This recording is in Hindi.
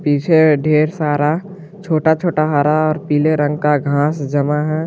पीछे ढेर सारा छोटा छोटा हरा और पीले रंग का घास जमा है।